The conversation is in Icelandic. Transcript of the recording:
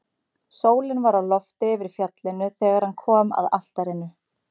Sólin var á lofti yfir fjallinu þegar hann kom að altarinu.